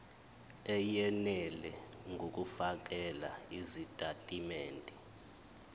eyenele ngokufakela izitatimende